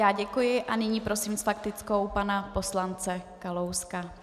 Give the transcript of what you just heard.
Já děkuji a nyní prosím s faktickou pana poslance Kalouska.